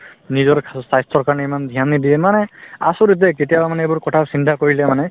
নিজৰ খা স্বাস্থ্যৰ কাৰণে ইমান dhyan নিদিয়ে মানে আচৰিত দেই কেতিয়াবা মানে এইবোৰ কথা চিন্তা কৰিলে মানে